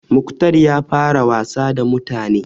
Mukhtar ya fara wasa da mutane.